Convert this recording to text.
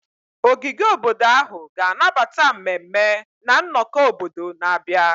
Ogige obodo ahụ ga-anabata mmemme na nnọkọ obodo na-abịa.